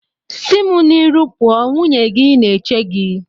Si mu n'iru pụọ! nwunye gị na-eche gị.